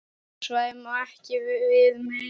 Svæðið má ekki við meiru.